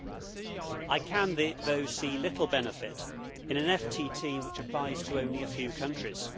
However, I can see little benefit in an FTT which applies to only a few countries.